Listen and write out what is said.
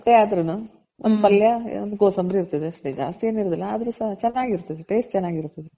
ಅಷ್ಟೆ ಆದ್ರೂನು ಒಂದ್ ಪಲ್ಯ ಒಂದ್ ಕೋಸಂಬ್ರಿ ಇರ್ತದೆ ಅಷ್ಟೆ ಜಾಸ್ತಿ ಏನ್ ಇರೋದಿಲ್ಲ ಆದರು ಸಹ ಚೆನಾಗಿರ್ತದೆ taste ಚೆನಾಗಿರ್ತದೆ.